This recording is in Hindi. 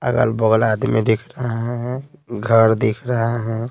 अगल बगल आदमी दिख रहा है घर दिख रहा है।